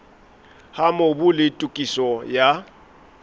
ha mobu le tokiso ya